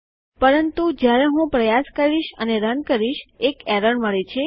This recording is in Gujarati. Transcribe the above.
પરંતુ જ્યારે હું પ્રયાસ કરીશ અને રન કરીશ એક એરર મળે છે